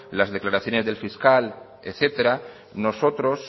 las declaraciones del fiscal etcétera nosotros